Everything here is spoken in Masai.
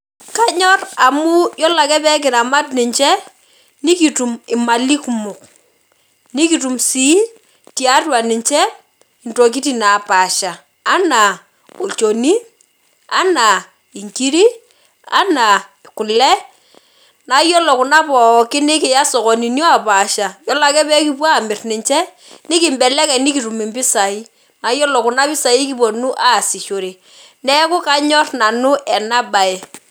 Kanyor amu yiolo ake pekiramat ninche, nikitum imali kumok. Nikitum sii, tiatua ninche, intokiting napaasha. Anaa olchoni, anaa inkiri, anaa kule, na yiolo kuna pookin nikiya sokonini opaasha, yiolo ake pekipuo amir ninche, nikibelekeny nikitum impisai. Na yiolo kuna pisai kiponu aasishore. Neeku kanyor nanu enabae.